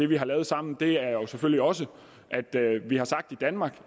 vi har lavet sammen og det er jeg jo selvfølgelig også vi har sagt i danmark